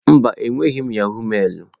Mba, enweghị m yahọ̀g mailụ.